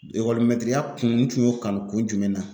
Ekɔlimɛtiriya kun n tun y'o kanu kun jumɛn na ?